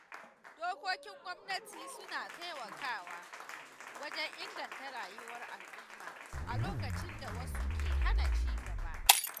Dokokin gwamnati suna taimakawa wajen inganta rayuwar al'umma a lokacin da wasu ke hana cigaba.